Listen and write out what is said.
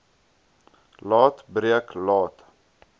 laat breek laat